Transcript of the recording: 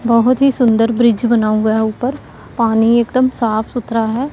बोहोत ही सुंदर ब्रिज बना हुआ है ऊपर पानी एकदम साफ सुथरा है।